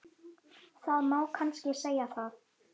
Það má kannski segja það.